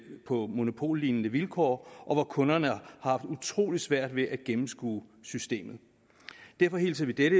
på monopollignende vilkår og hvor kunderne har haft utrolig svært ved at gennemskue systemet derfor hilser vi dette